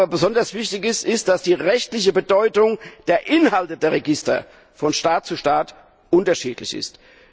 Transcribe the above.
Besonders wichtig ist aber, dass die rechtliche Bedeutung der Inhalte der Register von Staat zu Staat unterschiedlich ist.